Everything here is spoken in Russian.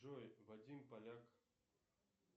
джой вадим поляк